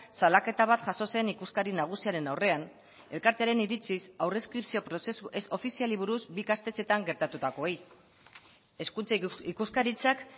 salaketa bat jaso zen ikuskari nagusiaren aurrean elkartearen iritziz aurre inskripzio prozesu ez ofiziali buruz bi ikastetxeetan gertatutakoei hezkuntza ikuskaritzak